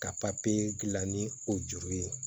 Ka papiye gilan ni o juru ye